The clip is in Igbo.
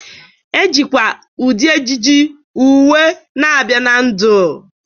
Ejikwa ụdị ejiji, uwe na-abịa na ndụ.